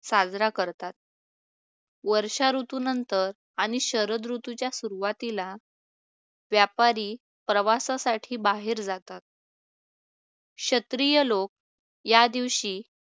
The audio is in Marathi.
साजरा करतात. वर्षा ऋतुनंतर आणि शरद ऋतूच्या सुरुवातीला व्यापारी प्रवासासाठी बाहेर जातात. क्षत्रिय लोक या दिवशी